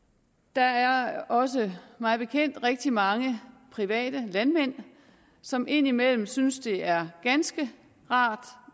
der er også mig bekendt rigtig mange private landmænd som indimellem synes at det er ganske rart